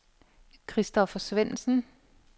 Kristoffer Svendsen